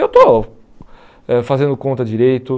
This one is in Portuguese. Eu estou ãh fazendo conta direito.